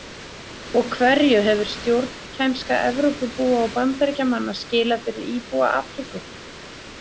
Og hverju hefur stjórnkænska Evrópubúa og Bandaríkjamanna skilað fyrir íbúa Afríku?